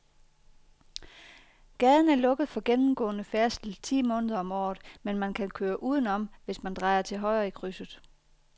Gaden er lukket for gennemgående færdsel ti måneder om året, men man kan køre udenom, hvis man drejer til højre i krydset.